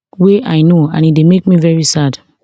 wey i know and e dey make me very sad